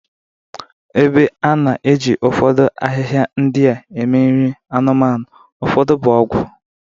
Ebe a na-eji ụfọdụ ahịhịa ndị a eme nri anụmanụ, ụfọdụ bụ ọgwụ.